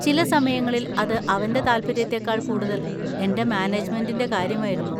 ചില സമയങ്ങളിൽ അത് അവന്‍റെ താൽപ്പര്യത്തേക്കാൾ കൂടുതൽ എന്‍റെ മാനേജ്മെന്‍റിന്‍റെ കാര്യമായിരുന്നു.